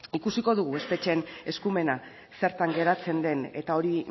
ikusiko dugu espetxeen eskumena zertan geratzen den eta hori